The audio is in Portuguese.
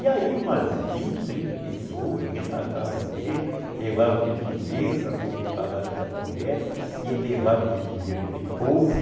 E aí umas vinte, trinta pessoas iam na casa dele, levavam aquele dinheiro para poder pagar aquela promessa e ele levava aquele dinheiro daquele povo.